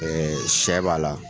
sɛ b'a la,